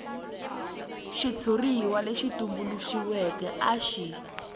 xitshuriwa lexi tumbuluxiweke a xi